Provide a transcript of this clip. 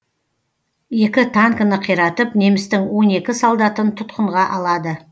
екі танкіні қиратып немістің он екі солдатын тұтқынға алады